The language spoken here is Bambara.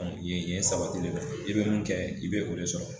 An ye ye sabatilen don, i bɛ mun kɛ, i bɛ o de sɔrɔ.